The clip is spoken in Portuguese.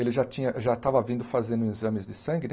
Ele já tinha, já estava vindo fazendo exames de sangue, né?